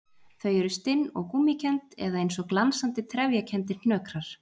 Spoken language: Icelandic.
Þau eru stinn og gúmmíkennd eða eins og glansandi, trefjakenndir hnökrar.